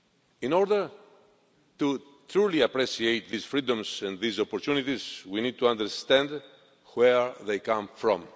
In order truly to appreciate these freedoms and these opportunities, we need to understand where they come from.